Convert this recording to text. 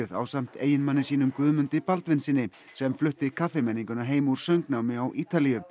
ásamt eiginmanni sínum Guðmundi Baldvinssyni sem flutti kaffimenninguna heim úr söngnámi á Ítalíu